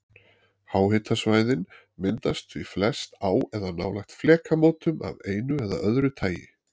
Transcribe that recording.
Háhitasvæðin myndast því flest á eða nálægt flekamótum af einu eða öðru tagi.